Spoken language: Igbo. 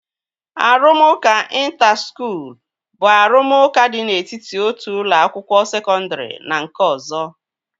Arụmụka ịnta skuul bụ arụmụka dị n'etiti otu ụlọ akwụkwọ sekọndri na nke ọzọ